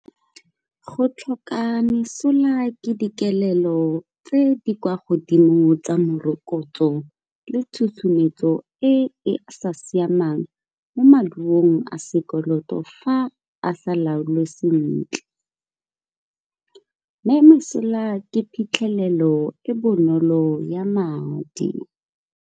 Go tlhoka mesola ke dikelelo tse di kwa godimo tsa morokotso le tsusumetso e sa siamang mo maduong a sekoloto fa a sa laolwe sentle. Mme ke phitlhelelo e bonolo ya madi.